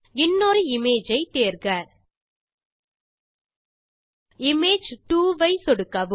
இன்னொரு இமேஜ் ஐ தேர்க இமேஜ் 2 ஐ சொடுக்கவும்